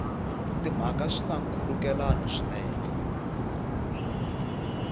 timhaka swi na nkhulukelano swinene